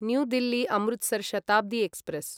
new Delhi Amritsar Shatabdi express